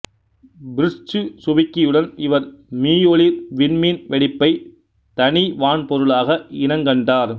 Fritz சுவிக்கியுடன் இவர் மீயொளிர் விண்மீன் வெடிப்பை தனி வான்பொருளாக இனங்கண்டார்